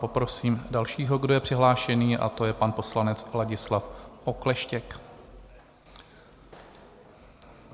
Poprosím dalšího, kdo je přihlášený, a to je pan poslanec Ladislav Okleštěk.